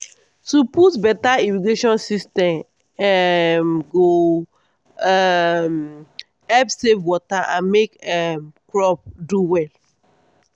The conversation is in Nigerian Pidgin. to put beta irrigation system um go um help save water and make um crop do well